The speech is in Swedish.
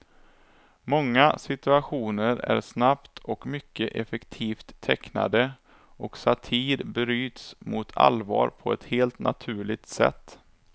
Många situationer är snabbt och mycket effektivt tecknade, och satir bryts mot allvar på ett helt naturligt sätt.